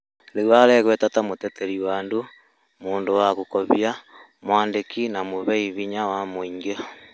Rĩũ aregweta ta mũteterĩ wa andu, mũndũ wa gũkobĩo, mwandĩkĩ na mũheĩ hĩnya wa mũĩngĩ